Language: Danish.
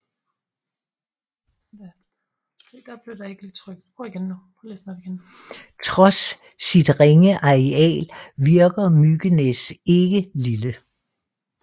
Trods sit ringe areal virker Mykines ikke lille